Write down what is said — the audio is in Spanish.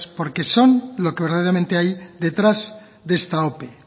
porque son los que verdaderamente hay detrás de esta ope